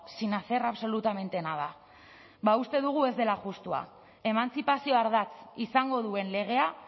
sin hacer absolutamente nada ba uste dugu ez dela justua emantzipazio ardatz izango duen legea